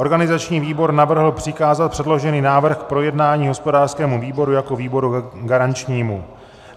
Organizační výbor navrhl přikázat předložený návrh k projednání hospodářskému výboru jako výboru garančnímu.